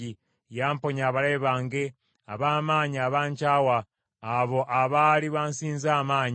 Yamponya abalabe bange ab’amaanyi abankyawa, abo abaali bansinza amaanyi.